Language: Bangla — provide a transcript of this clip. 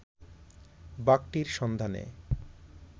বাঘটির সন্ধানে